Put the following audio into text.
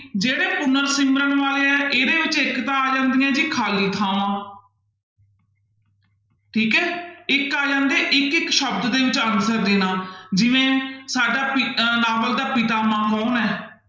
ਜਿਹੜੇ ਪੁਨਰ ਸਿਮਰਨ ਵਾਲੇ ਹੈ ਇਹਦੇ ਵਿੱਚ ਇੱਕ ਤਾਂ ਆ ਜਾਂਦੀਆਂ ਜੀ ਖਾਲੀ ਥਾਵਾਂ ਠੀਕ ਹੈ ਇੱਕ ਆ ਜਾਂਦੇ ਹੈ ਇੱਕ ਇੱਕ ਸ਼ਬਦ ਦੇ ਵਿੱਚ answer ਦੇਣਾ ਜਿਵੇਂ ਸਾਡਾ ਪਿ ਅਹ ਨਾਵਲ ਦਾ ਪਿਤਾਮਾ ਕੌਣ ਹੈ?